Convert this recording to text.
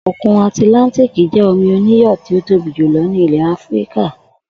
Òkun Àtìláńtíìkì jé̩ omi oníyò̩ tí ó tóbi jùlo̩ ní ilè̩ Áfíríkà